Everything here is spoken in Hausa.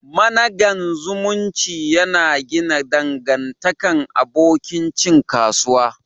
Managan zumunci ya na gina dangantakan abokin cin kasuwa.